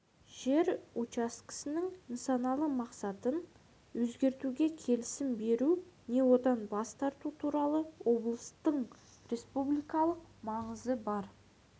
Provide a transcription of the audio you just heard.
жер учаскесінің нысаналы мақсатын өзгертуге келісім беру не одан бас тарту туралы облыстың республикалық маңызы бар